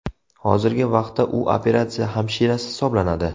Hozirgi vaqtda u operatsiya hamshirasi hisoblanadi.